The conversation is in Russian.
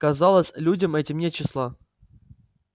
казалось людям этим нет числа